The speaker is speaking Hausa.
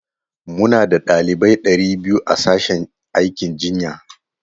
Muna da ɗalibai ɗari biyu a sashen aikin jinya.